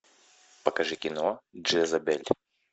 покажи кино джезабель